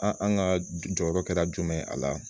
An an ka jɔyɔrɔ kɛra jumɛn ye a la